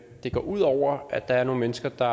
det går ud over at der er nogle mennesker der